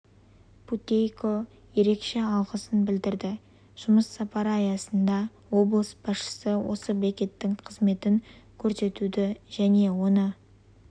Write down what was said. путейко ерекше алғысын білдірді жұмыс сапары аясында облыс басшысы осы бекеттің қызметін көрсетуді және оны